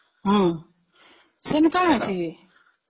ହଁ, ସେଇଦିନ କଣ ଅଛି କି ?